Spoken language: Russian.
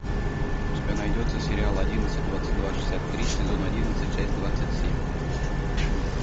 у тебя найдется сериал одиннадцать двадцать два шестьдесят три сезон одиннадцать часть двадцать семь